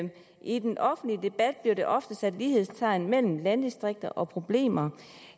i den offentlige debat bliver der ofte sat lighedstegn mellem landdistrikter og problemer